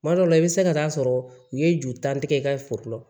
Kuma dɔ la i bɛ se ka taa sɔrɔ u ye juru tan tigɛ i ka foro la